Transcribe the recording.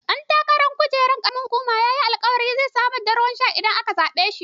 Ɗan takarar kujerar ƙaramar hukuma yayi alkawarin samar da ruwan sha idan aka zaɓe shi.